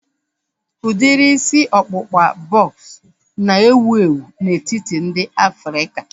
Udiri isi ọkpụkpa bọks na-ewu ewu n'etiti ndị Afrịka